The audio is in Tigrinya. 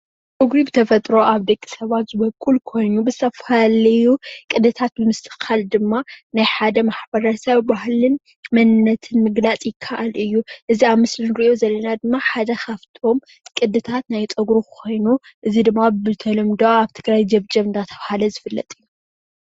ፀጉሪ ብተፈጥሮ ኣብ ደቂ ሰባት ዝወቅል ኮይኑ ብዝተፈላለዩ ቅድታት ምስትክካል ድማ ናይ ሓደ ማሕበረ ሰብ ባህልን መንነትን ምግላፅ ይካኣል እዩ፡፡ እዚ ኣብ ምስሊ እንሪኦ ዘለና ድማ ሓደ ካብቶም ቅድታት ናይ ፀጉሪ ኮይኑ እዚ ድማ ብተለምዶ ኣብ ትግራይ ጀብጀብ እንዳተባሃለ ዝፍለጥ እዩ፡፡